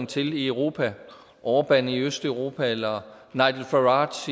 til i europa orban i østeuropa eller nigel farage